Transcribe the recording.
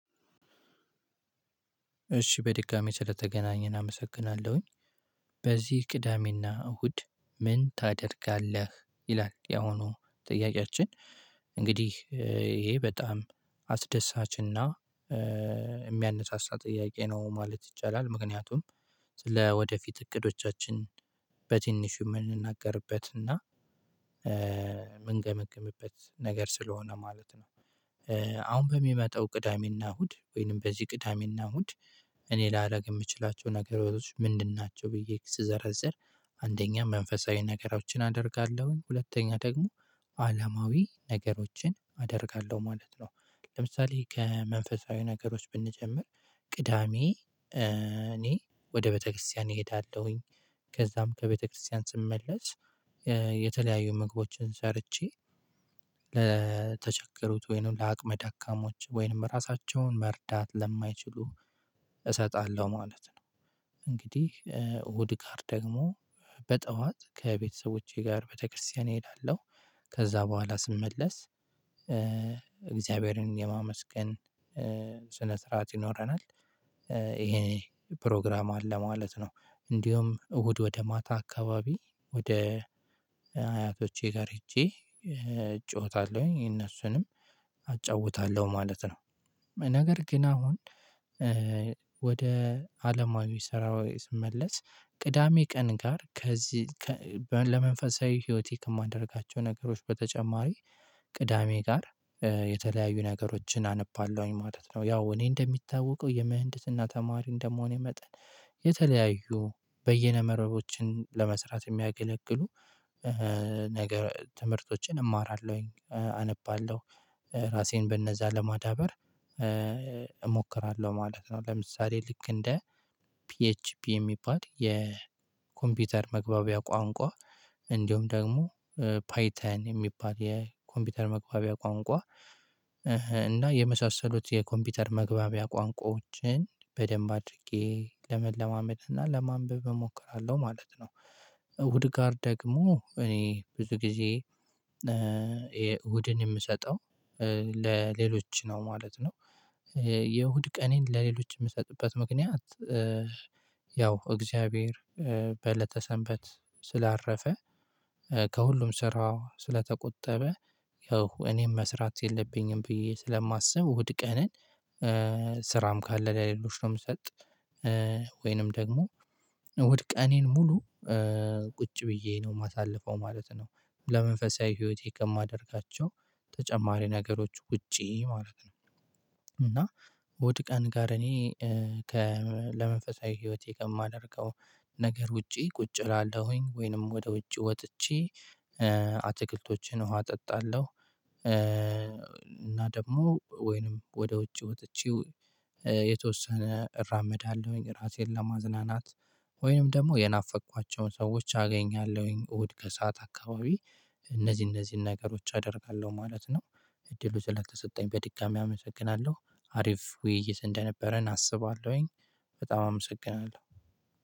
እሺ በድጋሜ ስለተገናኘን አመሰግናለሁኝ። በዚህ ቅዳሜና እሁድ ምን ታደርጋለህ ይላል ያሁኑ ጥያቄያችን? እንግዲህ ይሄ በጣም አስደሳችና የሚያነሳሳ ጥያቄ ነው ማለት ይቻላል ምክንያቱም ስለ ወደፊት እቅዶቻችን በቲንሹ የምንናገርበትና የምንገመግምበት ነገር ስለሆነ ማለት ነው። አሁን በሚመጣው ቅዳሜና እሁድ ወይንም በዚህ ቅዳሜና እሁድ እኔ ላደርግ የምችላቸው ነገሮች ምንድን ናቸው ብዬ ስዘረዝር? አንደኛ መንፈሳዊ ነገሮችን አደርጋለሁኝ ሁለተኛ ደግሞ አላማዊ ነገሮችን አደርጋለሁ ማለት ነው። ለምሳሌ ከመንፈሳዊ ነገሮች ብንጀምር ቅዳሜ እኔ ወደ ቤተክርስቲያን እሄዳለሁኝ። ከዛም ከቤተክርስቲያን ስመለስ የተለያዩ ምግቦችን ሰርቼ ለተቸገሩት ወይንም ለአቅመ ዳካሞች ወይንም ራሳቸውን መርዳት ለማይችሉ እሰጣለሁ ማለት ነው። እንግዲህ እሁድ ጋር ደግሞ በጠዋት ከቤተሰቦቼ ጋር ቤተክርስቲያን እሄዳለሁ ከዛ በኋላ ስመለስ እግዚአብሔርን የማመስገን ስነ ስርዓት ይኖረናል። ይሄ ፕሮግራም አለ ማለት ነው። እንዲሁም እሁድ ወደ ማታ አካባቢ ወደ አያቶቼ ጋር ሄጄ እጫወታለሁኝ እነሱንም አጫውታለሁ ማለት ነው። ነገር ግን አሁን ወደ አለማዊ ስራዊ ስመለስ ቅዳሜ ቀን ጋር ከዚህ ለመንፈሳዊ ህይወቴ ከማደርጋቸው ነገሮች በተጨማሪ ቅዳሜ ጋር የተለያዩ ነገሮችን አነባለሁኝ ማለት ነው። ያው እኔ እንደሚታወቀው የምህንድስና ተማሪ እንደመሆኔ መጠን የተለያዩ በየነ መርቦችን ለመስራት የሚያገለግሉ ነገር ትምህርቶችን እማራለሁኝ አነባለሁ ራሴን በእነዛ ለማዳበር እሞክራለሁ ማለት ነው። ለምሳሌ ልክ እንደ ፒኤችፒ የሚባል የኮምፒውተር መግባቢያ ቋንቋ እንዲሁም ደግሞ ፓይተን የሚባል የኮምፒውተር መግባቢያ ቋንቋ እና የመሳሰሉት የኮምፒውተር መግባቢያ ቋንቋዎችን በደንብ አድርጌ ለመለማመድ እና ለማንበብ እሞክራለሁ ማለት ነው። እሁድ ጋር ደግሞ እኔ ብዙ ጊዜ የእሁድን የምሰጠው ለሌሎች ነው ማለት ነው። የእሁድ ቀኔን ለሌሎች የምሰጥበት ምክንያት ያው እግዚአብሔር በእለተ ሰንበት ስላረፈ ከሁሉም ስራው ስለተቆጠበ ያው እኔም መስራት የለብኝም ብዬ ስለማስብ እሁድ ቀንን ስራም ካለ ለሌሎች ነው የምሰጥ። ወይንም ደግሞ እሁድ ቀኔን ሙሉ ቁጭ ብዬ ነው የማሳልፈው ማለት ነው። ለመንፈሳዊ ህይወቴ ከማደርጋቸው ተጨማሪ ነገሮች ውጪ ማድረግ ነው። እና እሁድ ቀን ጋር እኔ ከ ለመንፈሳዊ ህይወቴ ከማደርገው ነገር ውጪ ቁጭ እላለሁኝ ወይንም ወደ ውጭ ወጥቼ አትክልቶችን ዉሃ አጠጣለሁ። እና ደግሞ ወይንም ወደ ውጭ ወጥቼው የተወሰነ እራመዳለሁኝ ራሴን ለማዝናናት ወይንም ደግሞ የናፈቅኳቸውን ሰዎች አገኛለሁኝ እሁድ ከሰአት አካባቢ እነዚህ እነዚህን ነገሮች አደርጋለሁ ማለት ነው። እድሉ ስለተሰጠኝ በድጋሚ አመሰግናለሁ አሪፍ ውይይት እንደነበረን አስባለሁኝ። በጣም አመሰግናለሁ።